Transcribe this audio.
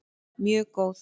Mjög góð